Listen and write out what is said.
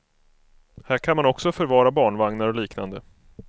Här kan man också förvara barnvagnar och liknande.